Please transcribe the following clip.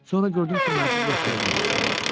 Sonra gördüm ki, mənsiz yaşaya bilmirsən.